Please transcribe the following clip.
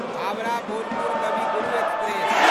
Howrah Bolpur Kavi Guru express